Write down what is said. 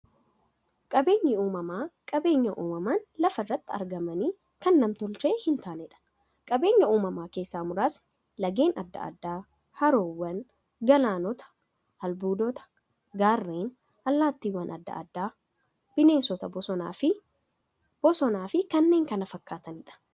Qaabeenyi uumamaa qabeenya uumamaan lafa irratti argamanii, kan nam-tolchee hintaaneedha. Qabeenya uumamaa keessaa muraasni; laggeen adda addaa, haroowwan, galaanota, albuudota, gaarreen, allattiiwwan adda addaa, bineensota bosonaa, bosonafi kanneen kana fakkataniidha.